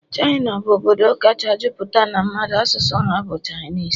China bụ obodo kacha juputa n'a mmadu, asụsụ ha bu Chinese